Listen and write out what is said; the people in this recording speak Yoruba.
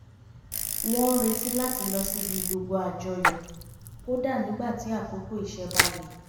wọń ń retí wọn láti lọ síbi gbogbo àjọyọ̀ kódà nígbà tí àkókò iṣẹ́ bá le